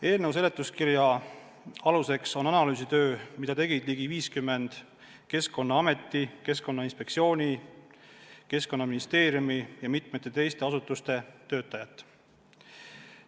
Eelnõu seletuskirja aluseks on analüüsitöö, mida tegid ligi 50 Keskkonnaameti, Keskkonnainspektsiooni, Keskkonnaministeeriumi ja mitme teise asutuse töötajat.